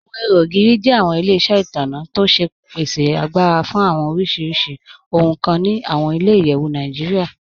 Awọn ìhò ogiri jẹ awọn ilẹ̀-iṣẹ itanna tó ṣe pèsè àgbàrà fún awọn oríṣiríṣì ohun kàn ni awọn ilẹ̀-iyẹ̀wù Nàìjíríà.